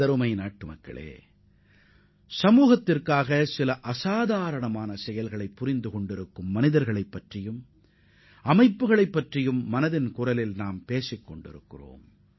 எனதருமை நாட்டு மக்களே மனதின் குரல் நிகழ்ச்சியில் சமுதாயத்திற்காக அளப்பரிய பங்காற்றிய தனிநபர்கள் மற்றும் அமைப்புகளைப் பற்றி நாம் குறிப்பிட்டோம்